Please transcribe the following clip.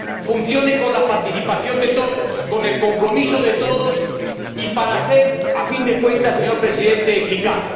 funcione con la participación de todos, con el compromiso de todos, y que sea, a fin de cuentas, señor Presidente, eficaz.